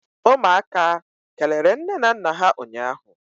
umuaka kelere nne na nna ha ụnyahụ?